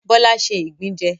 Bọ́lá ṣé ìgbín jẹ